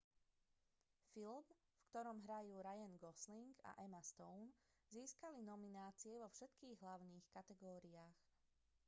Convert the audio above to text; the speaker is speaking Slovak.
film v ktorom hrajú ryan gosling a emma stone získal nominácie vo všetkých hlavných kategóriách